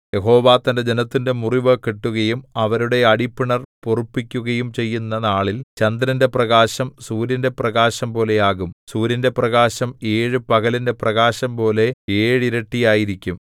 യഹോവ തന്റെ ജനത്തിന്റെ മുറിവ് കെട്ടുകയും അവരുടെ അടിപ്പിണർ പൊറുപ്പിക്കുകയും ചെയ്യുന്ന നാളിൽ ചന്ദ്രന്റെ പ്രകാശം സൂര്യന്റെ പ്രകാശം പോലെയാകും സൂര്യന്റെ പ്രകാശം ഏഴു പകലിന്റെ പ്രകാശംപോലെ ഏഴിരട്ടിയായിരിക്കും